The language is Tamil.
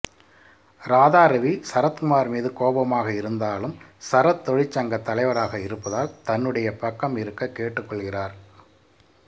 ராதாரவி சரத்குமார் மீது கோபமாக இருந்தாலும் சரத் தொழிற்சங்கத் தலைவராக இருப்பதால் தன்னுடைய பக்கம் இருக்க கேட்டுக்கொள்கிறார்